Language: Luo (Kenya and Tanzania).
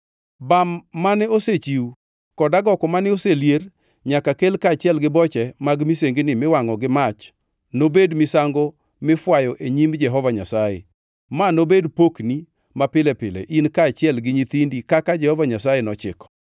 Bam mane osechiw kod agoko mane oselier nyaka kel kaachiel gi boche mag misengini miwangʼo gi mach nobed misango mifwayo e nyim Jehova Nyasaye. Ma nobed pokni mapile pile in kaachiel gi nyithindi kaka Jehova Nyasaye nochiko.”